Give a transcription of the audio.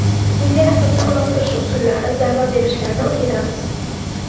Senga raqibni uloqtirish usullari, zarba berishlarni o‘rgatamiz.